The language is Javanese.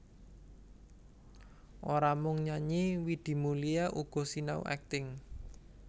Ora mung nyanyi Widi Mulia uga sinau akting